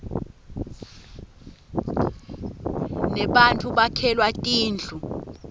nebattfu bakhelwa tindlu